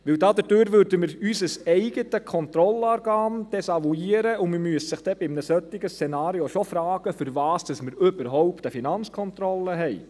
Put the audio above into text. Denn dadurch würden wir unser eigenes Kontrollorgan desavouieren, und man müsste sich dann bei einem solchen Szenario schon fragen, wofür wir überhaupt eine FK haben.